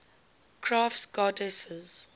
crafts goddesses